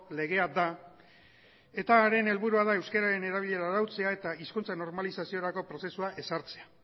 legea da eta haren helburua da euskararen erabilera arautzea eta hizkuntza normalizaziorako prozesua ezartzea